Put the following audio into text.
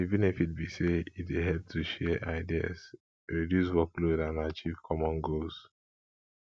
di benefits be say e dey help to share ideas reduce workload and achieve common goals